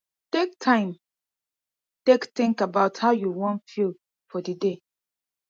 take time take think about how you wan feel for di day